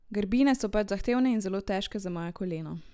Grbine so pač zahtevne in zelo težke za moje koleno.